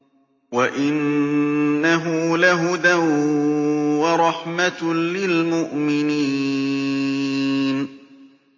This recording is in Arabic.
وَإِنَّهُ لَهُدًى وَرَحْمَةٌ لِّلْمُؤْمِنِينَ